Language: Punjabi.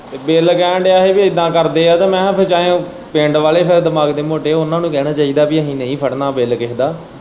ਤੇ ਬਿਲ ਕਹਿਣ ਦਿਆ ਹੀ ਇੱਦਾਂ ਕਰਦੇ ਹੈ ਕਿ ਮੈਂ ਕਿਹਾ ਕਿ ਜਾਂ ਫਿਰ ਪਿੰਡ ਵਾਲੇ ਫਿਰ ਦਿਮਾਗ ਦੇ ਮੋਟੋ ਹੈ ਉਹਨਾਂ ਨੂੰ ਕਹਿਣਾ ਚਾਹੀਦਾ ਪਈ ਅਸੀਂ ਨਹੀਂ ਫੜਨਾਂ ਬਿੱਲ ਕਿਸੇ ਦਾ।